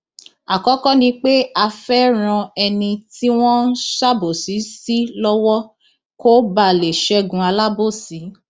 àkọkọ ni pé a fẹẹ ran ẹni tí wọn ń ṣàbòsí sí lọwọ kó bàa lè ṣẹgun alábòsí